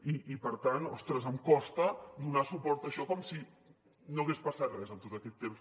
i per tant ostres em costa donar suport a això com si no hagués passat res en tot aquest temps